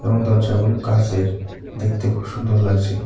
এবং দরজাগুলো কাচের দেখতে খুব সুন্দর লাগছে।